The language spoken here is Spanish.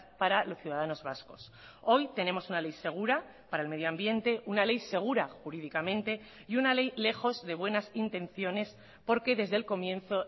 para los ciudadanos vascos hoy tenemos una ley segura para el medio ambiente una ley segura jurídicamente y una ley lejos de buenas intenciones porque desde el comienzo